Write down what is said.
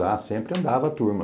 Ah, sempre andava a turma.